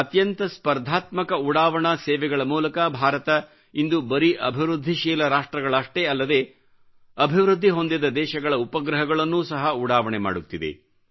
ಅತ್ಯಂತ ಸ್ಪರ್ಧಾತ್ಮಕ ಉಡಾವಣಾ ಸೇವೆಗಳ ಮೂಲಕ ಭಾರತವು ಇಂದು ಬರೀ ಅಭಿವೃದ್ಧಿಶೀಲ ರಾಷ್ಟ್ರಗಳಷ್ಟೇ ಅಲ್ಲದೆ ಅಭಿವೃದ್ಧಿ ಹೊಂದಿದ ದೇಶಗಳ ಉಪಗ್ರಹಗಳನ್ನೂ ಸಹ ಉಡಾವಣೆ ಮಾಡುತ್ತಿದೆ